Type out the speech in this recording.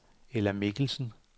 Ella Mikkelsen